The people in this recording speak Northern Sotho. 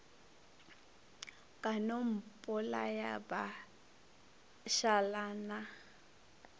ka no mpolaya ba šalana